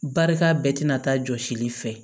Barika bɛɛ tɛna taa jɔsili fɛ